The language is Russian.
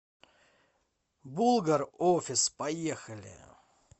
булгар офис поехали